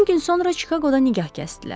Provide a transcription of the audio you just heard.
10 gün sonra Çikaqoda nikah kəsdilər.